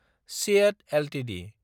CEAT Ltd